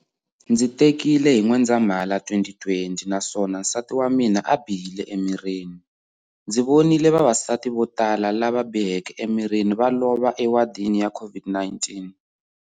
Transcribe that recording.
Ndzi tekile hi N'wendzamhala 2020 naswona nsati wa mina a bihile emirhini. Ndzi vonile vavasati vo tala lava biheke emirhini va lova ewadini ya COVID-19.